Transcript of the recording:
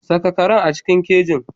Saka karen a cikin keji.